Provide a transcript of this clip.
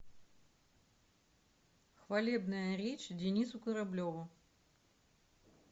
хвалебная речь денису кораблеву